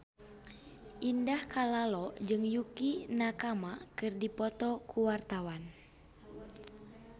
Indah Kalalo jeung Yukie Nakama keur dipoto ku wartawan